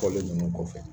Fɔli ninnu kɔfɛ